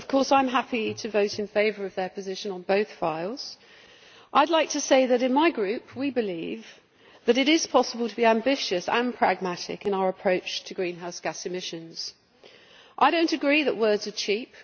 I am happy to vote in favour of their position on both files. I would like to say that in my group we believe that it is possible to be ambitious and pragmatic in our approach to greenhouse gas emissions. I do not agree that words are cheap.